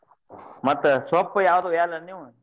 ಮತ್ತ್ ಸೊಪ್ಪ ಯಾವ್ದ್ ವಯಲ್ಲ್ಯಾನ್ ನೀವ್?